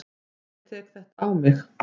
Ég tek það á mig.